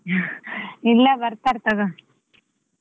ಇಲ್ಲ ಬರ್ತಾರ್ ತೊಗೋ.